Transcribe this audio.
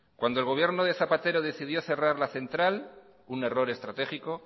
cuando el gobierno de zapatero decidió cerrar la central un error estratégico